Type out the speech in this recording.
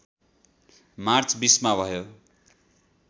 March २० मा भयो